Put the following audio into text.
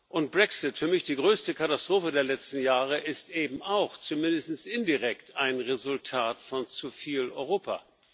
Und der Brexit für mich die größte Katastrophe der letzten Jahre ist eben auch, zumindest indirekt, ein Resultat von zu viel Europa.